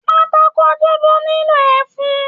Pátákó dúdú nilo ẹfun.